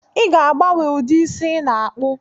I ga-agbanwe ụdị isi ị ga-akpụ